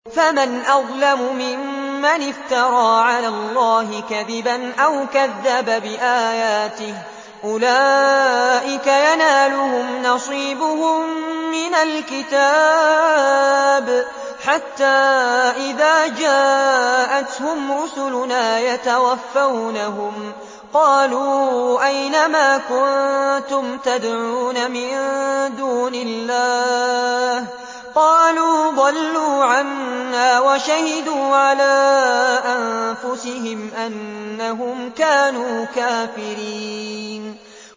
فَمَنْ أَظْلَمُ مِمَّنِ افْتَرَىٰ عَلَى اللَّهِ كَذِبًا أَوْ كَذَّبَ بِآيَاتِهِ ۚ أُولَٰئِكَ يَنَالُهُمْ نَصِيبُهُم مِّنَ الْكِتَابِ ۖ حَتَّىٰ إِذَا جَاءَتْهُمْ رُسُلُنَا يَتَوَفَّوْنَهُمْ قَالُوا أَيْنَ مَا كُنتُمْ تَدْعُونَ مِن دُونِ اللَّهِ ۖ قَالُوا ضَلُّوا عَنَّا وَشَهِدُوا عَلَىٰ أَنفُسِهِمْ أَنَّهُمْ كَانُوا كَافِرِينَ